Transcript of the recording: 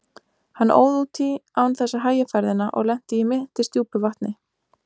Hann óð út í án þess að hægja ferðina og lenti í mittisdjúpu vatni.